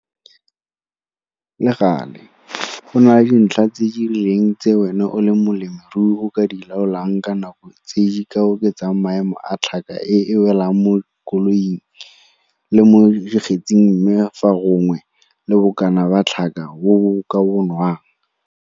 Le gale, go na le dintlha tse di rileng tse wena o le molemirui o ka di laolang ka nako e tse di ka oketsang maemo a tlhaka e e welang mo koloing le mo dikgetsing mme gape fa gongwe le bokana ba tlhaka bo bo ka bonwang.